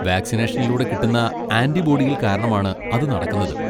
വാക്സിനേഷനിലൂടെ കിട്ടുന്ന ആന്റിബോഡികൾ കാരണമാണ് അത് നടക്കുന്നത്.